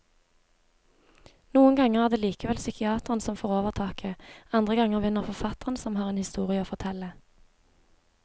Noen ganger er det likevel psykiateren som får overtaket, andre ganger vinner forfatteren som har en historie å fortelle.